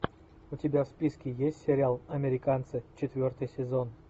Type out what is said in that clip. у тебя в списке есть сериал американцы четвертый сезон